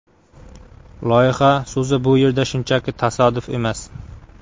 Loyiha so‘zi bu yerda shunchaki tasodif emas.